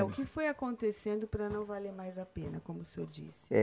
É, o que foi acontecendo para não valer mais a pena, como o senhor disse. Eh